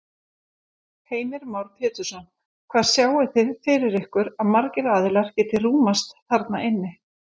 Heimir Már Pétursson: Hvað sjáið þið fyrir ykkur að margir aðilar geti rúmast þarna inni?